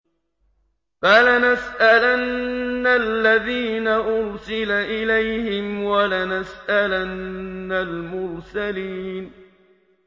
فَلَنَسْأَلَنَّ الَّذِينَ أُرْسِلَ إِلَيْهِمْ وَلَنَسْأَلَنَّ الْمُرْسَلِينَ